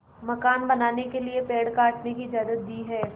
मकान बनाने के लिए पेड़ काटने की इजाज़त दी है